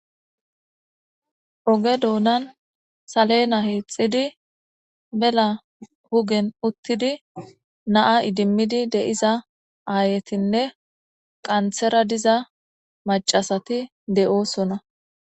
Oge doonan salena hiixxidi mela hugen uttidi naa idimmidi deiza aayetinne qanthera diza macasati de7oosona.